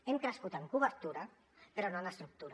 hem crescut en cobertura però no en estructura